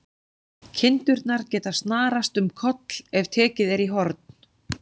Kindurnar geta snarast um koll ef tekið er í horn.